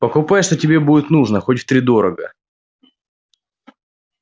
покупай что тебе будет нужно хоть втридорога